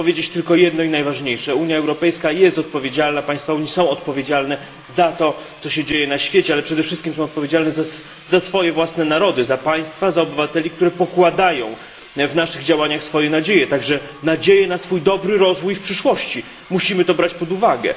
Ja chcę powiedzieć tylko jedno i najważniejsze Unia Europejska jest odpowiedzialna, państwa Unii Europejskiej są odpowiedzialne za to, co się dzieje na świecie, ale przede wszystkim są odpowiedzialne za swoje własne narody, za państwa, za obywateli, którzy pokładają w naszych działaniach swoje nadzieje, także nadzieje na swój dobry rozwój w przyszłości musimy to brać pod uwagę.